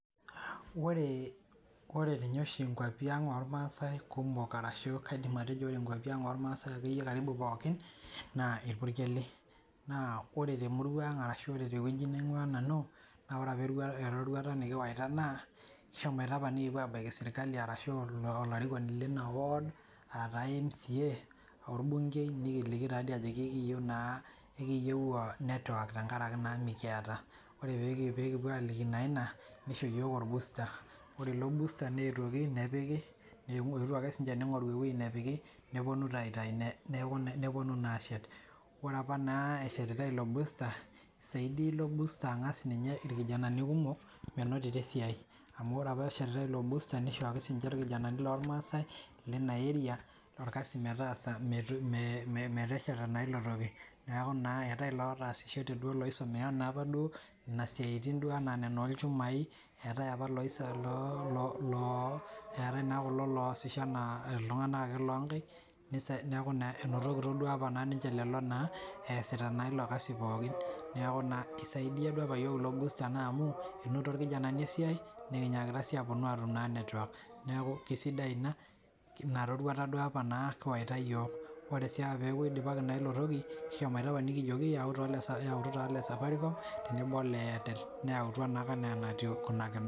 Ore ninye oshi nkuapi ang' irmaasae kumok, kaidim atejo nkuapi irmaasae, karibu pooki naa irpukeli, naa ore temurua anga shu ore te wueji naumingua nanu, ore erorauta nikiwaita, kishomoita apa nikipuo aabaiki olarikoni ashu sirkali aa taa mca orbunkei ajo ekiiyieu network. tenkata naa mikita. Ore naa pee kipu aol